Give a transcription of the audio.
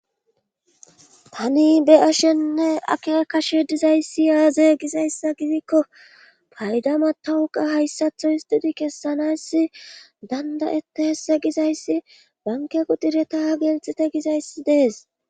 tani be7ashenne ake kashe dizayssi yaaze gizayssa gidikko paydama tawuqa hayssatho histudi kessanassi dandayetehesse gizayssi banke kudireta gelxite gizayssi dees